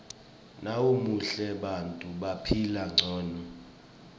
nawumuhle bantfu baphila ngcono